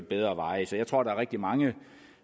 bedre veje så jeg tror der er rigtig mange